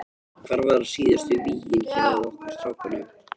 Hvar verða síðustu vígin hjá okkur strákunum?